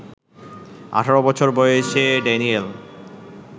১৮ বছর বয়সে ড্যানিয়েল